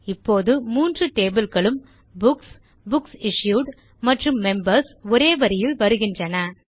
இப்போது மூன்று டேபிள் களும் புக்ஸ் புக்ஸ் இஷ்யூட் மற்றும் மெம்பர்ஸ் ஒரே வரியில் வருகின்றன